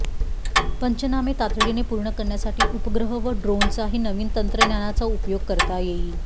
पंचनामे तातडीने पूर्ण करण्यासाठी उपग्रह व ड्रोनचाही नवीन तंत्रज्ञानाचा उपयोग करता येईल